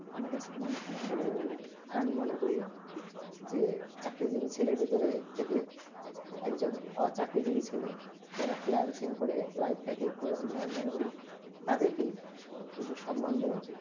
আমার কাছে মনে হয়ে না আর আমি মনে করি যে একটা জিনিস ছেলে ভিতরে থেকে এক জন ওচাকরি যে ছেলে যারা freelancing করে লাইফ তা কে করে তুলে আমি মনে করি তাদের বেশি সমান দেবা উচিত